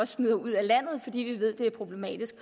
smider ud af landet fordi vi ved at det er problematisk